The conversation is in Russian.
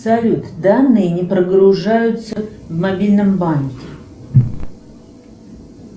салют данные не прогружаются в мобильном банке